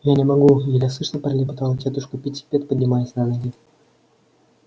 я не могу еле слышно пролепетала тётушка питтипэт поднимаясь на ноги